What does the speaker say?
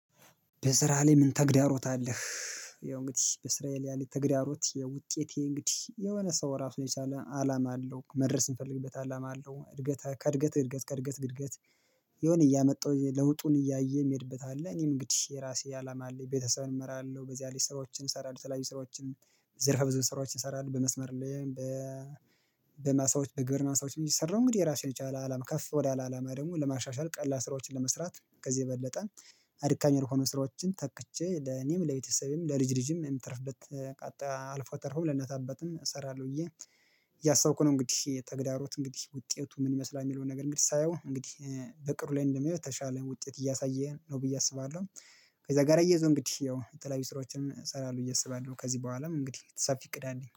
በስራህ ላይ ምን ተግዳሮት አለህ? ያው እንግዲህ በስራዬ ላይ ያለኝ ተግዳሮት ውጤቴ እንግዲህ የሆነ ሰው ራሱን የቻለ አላማ አለው መድረስ የምፈልግበት አላማ አለው። ከእድገት እድገት ከእድገት እድገት። የሆነ እያመጣሁ ለውጡን እያየ የሚሄድበት አለ እኔም እንግዲህ የራሴ አላማ አለኝ ቤተሰብን እመራለሁ በዚያ ላይ ስራዎችን እሰራለሁ ተለያዩ ስራዎችን። ስራ ብዙ ስራዎችን እሰራለሁ በመስመር ላይ። በማሳዎች በግብር ማሳዎች የሚሰራው እንግዲህ ራሱን የቻለ አላማ ከፍ ወዳለ አላማ ደግሞ ለማሻሻል ቀላል ስራዎችን ለመስራት ከዚህ የበለጠ አድካሚ ያልሆኑ ስራዎችን ተክቼ ለኔም ለቤተሰቤም ለልጅልጅም የምተርፍበት ቀጣይ አልፎም ተርፎም ለናትአባትም እሰራለሁ። እያሰብኩ ነው። እንግዲህ ተግዳሮት እንግዲህ ውጤቱ ምን ይመስላል የሚለውን ነገር እንግዲህ ሳየው እንግዲህ በእቅዱ ላይ እንደሚያየው የተሻለ ውጤት እያሳየን ነው ብዬ አስባለሁ። ከዛ ጋር አያይዞ እንግዲህ ያው የተለያዩ ስራዎችን እሰራለሁ ብዬ አስባለሁ። ከዚህ በኋላም እንግዲህ ሰፊ እቅድ አለኝ